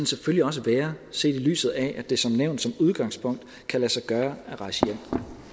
selvfølgelig også være set i lyset af at det som nævnt som udgangspunkt kan lade sig gøre at rejse hjem